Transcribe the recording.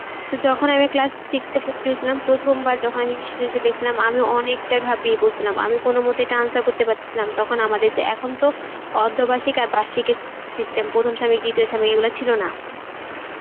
তো class six এ ভর্তি হয়েছিলাম প্রথম বার যখন আমি সেজনশীল দেখসিলাম আমি অনেকটা ঘাবড়িয়ে পড়সিলাম, আমি কোনো মতেই ইটা answer পারছিলাম, তখন আমাদের যা একন তো অর্ধবাসীক আর বাসিক এর system প্রথম সামিক দ্বিতীয় সামিক এগুলো ছিল না